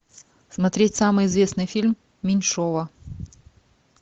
смотреть самый известный фильм меньшова